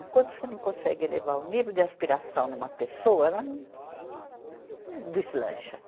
Enquanto você não consegue elevar o nível de aspiração numa pessoa, ela não deslancha.